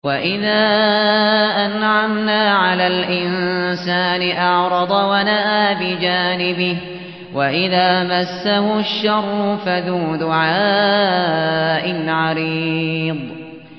وَإِذَا أَنْعَمْنَا عَلَى الْإِنسَانِ أَعْرَضَ وَنَأَىٰ بِجَانِبِهِ وَإِذَا مَسَّهُ الشَّرُّ فَذُو دُعَاءٍ عَرِيضٍ